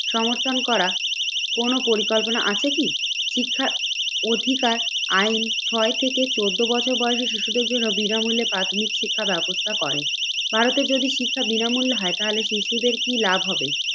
সমর্থন করা কোন পরিকল্পনা আছে কি? শিক্ষা অধিকার আইন ছয় থেকে চোদ্দ বছর বয়সে শিশুদের জন্য বিনামূল্যে প্রাথমিক শিক্ষা ব্যবস্থা করে। ভারতের যদি শিক্ষা বিনামূল্য হয় তাহলে শিশুদের কি লাভ হবে